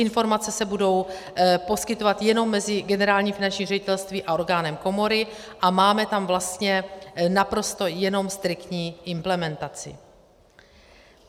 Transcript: Informace se budou poskytovat jenom mezi Generálním finančním ředitelstvím a orgánem komory, a máme tam vlastně naprosto jenom striktní implementaci.